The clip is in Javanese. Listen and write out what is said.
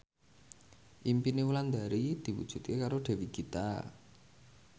impine Wulandari diwujudke karo Dewi Gita